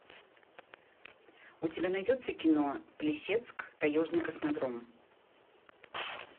у тебя найдется кино плесецк таежный космодром